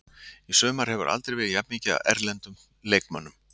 Í sumar hefur aldrei verið jafn mikið af erlendum leikmönnum.